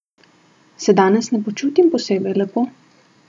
Se danes ne počutim posebej lepo?